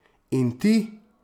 In ti?